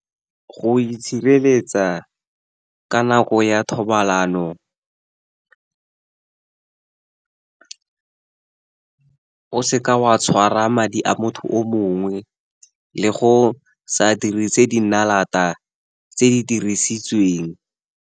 Go itshireletsa ka nako ya thobalano, o seke wa tshwara madi a motho o mongwe, le go sa dirise dinalata tse di dirisitsweng.